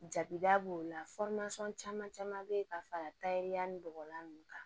Jabida b'o la caman caman bɛ ye ka fara taariya ni bɔgɔlan nunnu kan